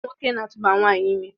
Nwoke na-atụba nwanyị ime